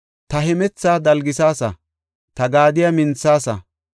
Ta hemethaa dalgisaasa; ta gaadiya minthaasa.